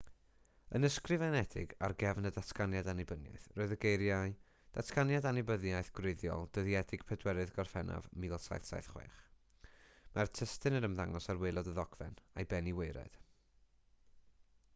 yn ysgrifenedig ar gefn y datganiad annibyniaeth roedd y geiriau datganiad annibyniaeth gwreiddiol dyddiedig 4ydd gorffennaf 1776 mae'r testun yn ymddangos ar waelod y ddogfen a'i ben i waered